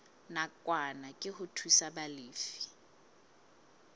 nakwana ke ho thusa balefi